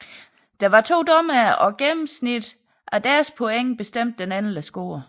Der var to dommere og gennemsnittet af deres point bestemte den endelige score